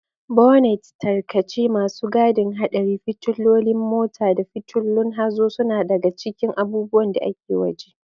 Bonnets, tarkace, masu gadin haɗari, fitilolin mota, da fitulun hazo suna daga cikin abubuwan da ke waje.